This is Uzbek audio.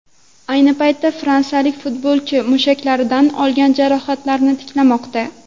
Ayni paytda fransiyalik futbolchi mushaklaridan olgan jarohatidan tiklanmoqda .